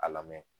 A lamɛn